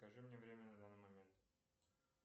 скажи мне время на данный момент